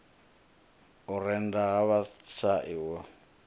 u rennda ha vhashai u